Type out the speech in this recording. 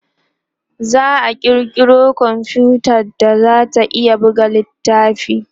za'a kirkiro komfuta da zata iya buga littafai